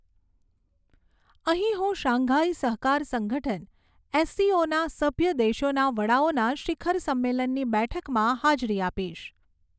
અહીં હું શાંઘાઈ સહકાર સંગઠન એસસીઓના સભ્ય દેશોના વડાઓના શિખર સંમલેનની બેઠકમાં હાજરી આપીશ.